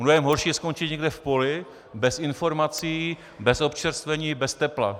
Mnohem horší je skončit někde v poli, bez informací, bez občerstvení, bez tepla.